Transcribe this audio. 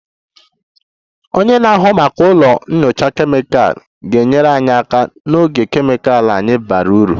Onye na-ahụ maka ụlọ nyocha kemịkal ga-enyere anyị aka n'oge kemịkal anyị bara uru